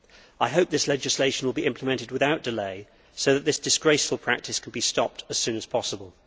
I hope this legislation will be implemented without delay so that this disgraceful practice can be stopped as soon as possible.